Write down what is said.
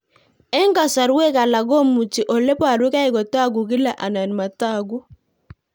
Eng'kasarwek alak komuchi ole parukei kotag'u kila anan matag'u